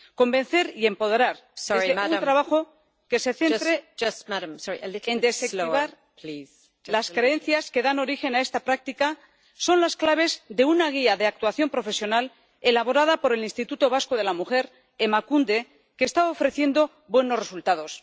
Convencer y empoderar desde un trabajo que se centre en desactivar las creencias que dan origen a esta práctica son las claves de una guía de actuación profesional elaborada por el Instituto Vasco de la Mujer, Emakunde, que está ofreciendo buenos resultados.